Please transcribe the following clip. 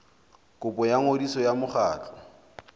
kopo ya ngodiso ya mokgatlo